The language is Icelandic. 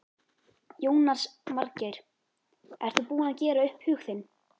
Jónas Margeir: Ert þú búinn að gera upp hug þinn?